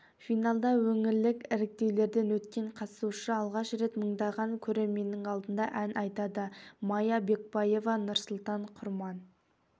финалда өңірлік іріктеулерден өткен қатысушы алғаш рет мыңдаған көрерменнің алдында ән айтады майя бекбаева нұрсұлтан құрман